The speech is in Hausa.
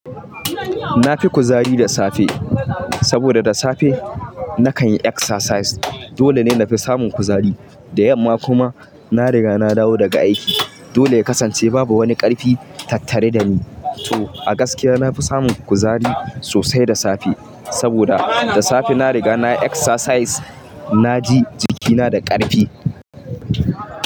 Na fi kuzari da safe saboda da safe na kan yi exercise. Dole ne na fi samun kuzari. Da yamma kuma na riga na dawo daga aiki. Dole ya kasance babu wani ƙarfi tattare da ni. To a gaskiya na fi samun kuzari, sosai da safe. Saboda da safe na riga na yi exercise. Na ji jikina da ƙarfi.